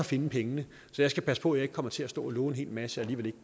finde pengene så jeg skal passe på at jeg ikke kommer til at stå og love en hel masse